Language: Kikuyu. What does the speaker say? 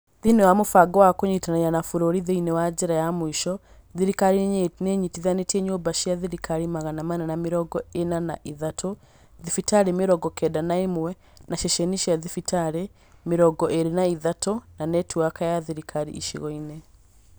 Thĩinĩ wa mũbango wa Kũnyitanĩra na Bũrũri Thĩinĩ wa Njĩra ya Mũico, thirikari nĩ ĩnyitithanĩtie nyũmba cia thirikari magana mana na mĩrongo ĩna na ithatũ, thibitarĩ mĩrongo kenda na ĩmwe, na ceceni cia thibitarĩ mĩrongo ĩĩrĩ na ithatũ na netiwaki ya thirikari icigo-inĩ.